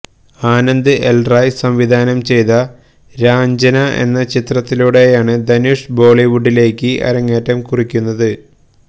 ആനന്ദ് എല് റായ് സംവിധാനം ചെയ്ത രാഞ്ചന എന്ന ചിത്രത്തിലൂടെയാണ് ധനുഷ് ബോളിവുഡിലേക്ക് അരങ്ങേറ്റം കുറിക്കുന്നത്